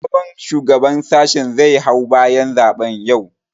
Sabon shugaban sashin zai hau bayan zaɓen yau